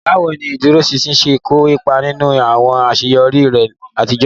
Báwo ni ìdúróṣinṣin ṣe kó ipa nínú àwọn àṣeyọrí rẹ àtijọ́?